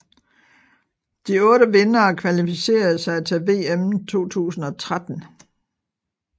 De otte vindere kvalificerede sig til VM 2013